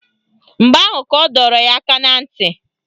Mgbe ahụ ka ọ dọrọ ya aka na ntị